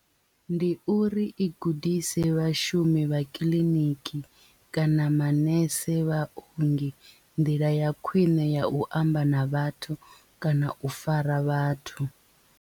Ndi uri i gudise vhashumi vha kiḽiniki kana manese vhaongi nḓila ya khwiṋe ya u amba na vhathu kana u fara vhathu.